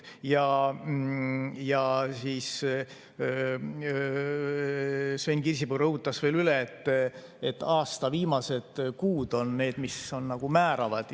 Sven Kirsipuu rõhutas veel üle, et aasta viimased kuud on need, mis on nagu määravad.